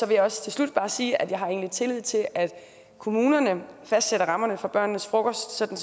jeg også bare sige at jeg har tillid til at kommunerne fastsætter rammerne for børnenes frokost sådan